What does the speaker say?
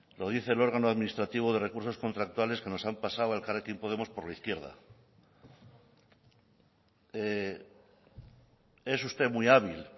lo dice el órgano administrativo de recursos contractuales que nos han pasado a elkarrekin podemos por la izquierda es usted muy hábil